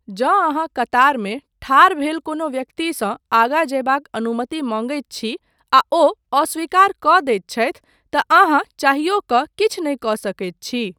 जँ अहाँ कतारमे ठाढ़ भेल कोनो व्यक्तिसँ आगा जयबाक अनुमति मँगैत छी, आ ओ अस्वीकार कऽ दैत छथि तँ अहाँँ चाहियो कऽ किछु नहि कऽ सकैत छी।